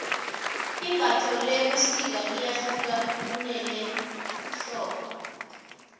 imbatho lebusika liyahluka kunelehlobo